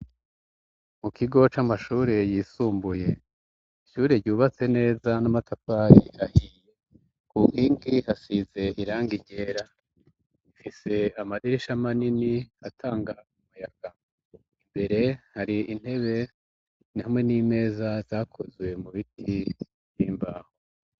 Mu kigo c'amashure yisumbuye ishyure ryubatse neza n'amatapayi hahi kuhinki hasize iranga iryera mfise amadirisha manini atanga umuyaga imbere hari intebe ntamwe n'imeza zakozuwe mu biti embaho.